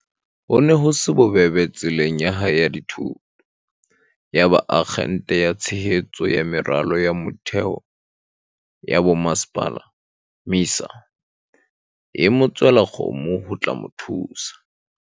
Ho ne ho se bobebe tseleng ya hae ya dithuto. Yaba Akgente ya Tshehetso ya Meralo ya Mo-theo ya Bomasepala, MISA, e mo tswela kgomo ho tla mo thusa.